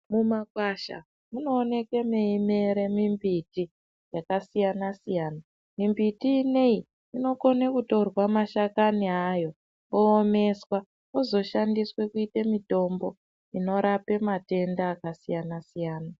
Mumakwasha munooneke mweimere mimbiti yakasiyana -siyana. Mimbiti ineyi inokone kutorwa mashakani ayo oomeswa ozoshandiswa kuite mitombo inorape matenda akasiyana-siyana.